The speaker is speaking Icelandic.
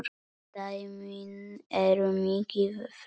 Dæmin eru mikið fleiri.